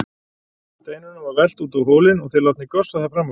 Steinunum var velt út á hólinn og þeir látnir gossa þar fram af.